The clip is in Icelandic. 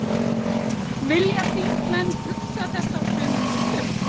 Vilja þingmenn hugsa þetta á sömu nótum?